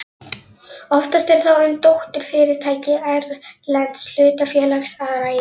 Oftast er þá um dótturfyrirtæki erlends hlutafélags að ræða.